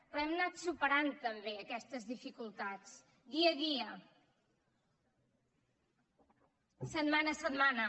però hem anat superant també aquestes dificultats dia a dia setmana a setmana